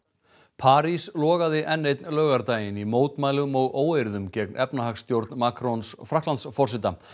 París logaði enn einn laugardaginn í mótmælum og óeirðum gegn efnahagsstjórn Frakklandsforseta